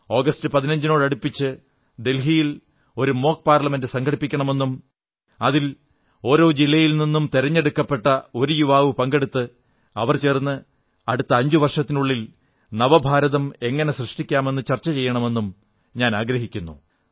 August 15നോടടുപ്പിച്ച് ദില്ലിയിൽ ഒരു മോക് പാർലമെന്റ് സംഘടിപ്പിക്കണമെന്നും അതിൽ ഓരോ ജില്ലയിൽ നിന്നും തിരഞ്ഞെടുക്കപ്പെട്ട ഒരു യുവാവ് പങ്കെടുത്ത് അവർ ചേർന്ന് അടുത്ത അഞ്ചു വർഷത്തിനുള്ളിൽ നവഭാരതം എങ്ങനെ സൃഷ്ടിക്കാമെന്ന് ചർച്ച ചെയ്യണമെന്നും ഞാനാഗ്രഹിക്കുന്നു